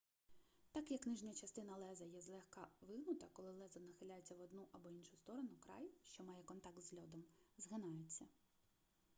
так як нижня частина леза є злегка вигнута коли лезо нахиляється в одну або іншу сторону край що має контакт з льодом згинається